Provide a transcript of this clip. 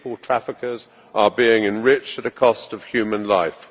The people traffickers are being enriched at the cost of human life.